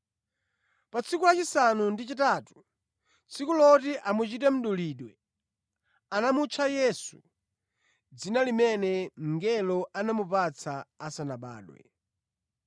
Pa tsiku lachisanu ndi chitatu, tsiku loti amuchite mdulidwe anamutcha Yesu, dzina limene mngelo anamupatsa asanabadwe.